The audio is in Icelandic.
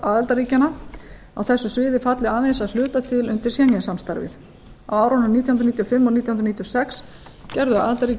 aðildarríkjanna á þessu sviði falli aðeins að hluta til undir schengen samstarfið á árunum nítján hundruð níutíu og fimm og nítján hundruð níutíu og sex gerðu aðildarríki